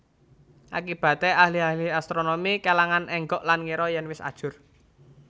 Akibaté ahli ahli astronomi kèlangan énggok lan ngira yèn wis ajur